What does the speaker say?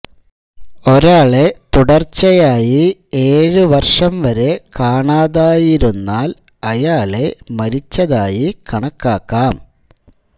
ഒരാളെ തുടര്ച്ചയ്യായി ഏഴു വര്ഷം വരെ കാണാതായിരുന്നാൽ അയാളെ മരിച്ചതായി കണക്കാക്കാം